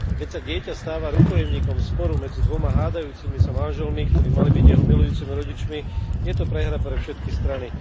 Keď sa dieťa stáva rukojemníkom sporu medzi dvoma hádajúcimi sa manželmi, ktorí mali byť jeho milujúcimi rodičmi, je to prehra pre všetky strany.